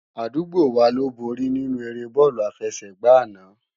Adúgbò wá ló bóri ninú éré bòlú àfésègbá àná